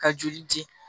Ka joli di